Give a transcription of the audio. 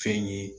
Fɛn ye